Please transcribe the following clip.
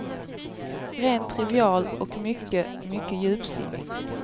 Rent trivial och mycket, mycket djupsinnig.